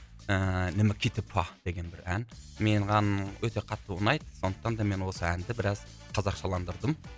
ііі деген бір ән менің өте қатты ұнайды сондықтан да мен осы әнді біраз қазақшаландырдым